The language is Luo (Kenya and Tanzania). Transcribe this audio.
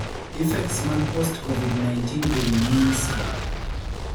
Effects mag post COVID-19 ewii means (score)